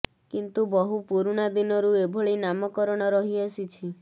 କିନ୍ତୁ ବହୁ ପୁରୁଣା ଦିନରୁ ଏଭଳି ନାମ କରଣ ରହି ଆସିଛି